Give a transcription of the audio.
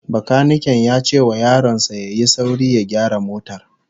Bakaniken ya ce wa yaron sa ya yi sauri ya gyara motar